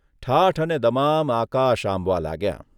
ઠાઠ અને દમામ આકાશ આંબવા લાગ્યાં.